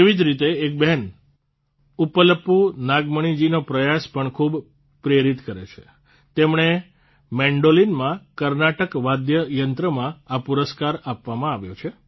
તેવી જ રીતે એક બહેન ઉપ્પલપૂ નાગમણિજીનો પ્રયાસ પણ ખૂબ જ પ્રેરિત કરે છે તેમણે મેન્ડોલીનમાં કર્ણાટક વાદ્યયંત્રમાં આ પુરસ્કાર આપવામાં આવ્યો છે